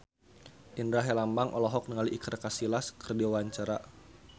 Indra Herlambang olohok ningali Iker Casillas keur diwawancara